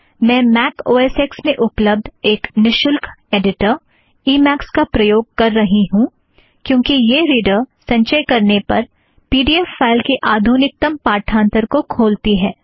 मैं Mac O S X में उपलब्द एक निशुल्क ऐड़िटर ई मॆक्स का प्रयोग कर रही हूँ क्योंकि यह रीड़र संचय करने पर पी ड़ी ऐफ़ फ़ाइल की आधुनिकतम पाठांथर को खोलती है